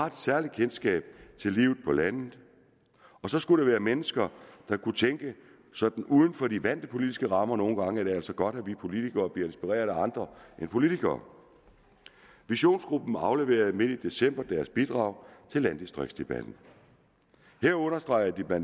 et særligt kendskab til livet på landet og så skulle det være mennesker der kunne tænke sådan uden for de vante politiske rammer nogle gange er det altså godt at vi politikere bliver inspireret af andre end politikere visionsgruppen afleverede midt i december deres bidrag til landdistriktsdebatten her understregede de bla